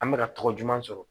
An bɛka ka tɔgɔ juman sɔrɔ